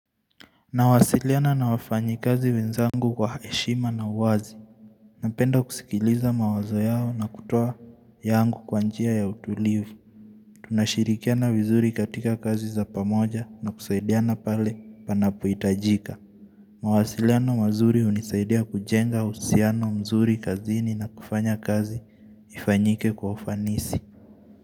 Nawasiliana na wafanyikazi wenzangu kwa heshima na uwazi Napenda kusikiliza mawazo yao na kutoa yangu kwa njia ya utulivu tunashirikiana vizuri katika kazi za pamoja na kusaidiana pale panapo hitajika mawasiliano mazuri unisaidia kujenga usiano mzuri kazini na kufanya kazi ifanyike kwa ufanisi.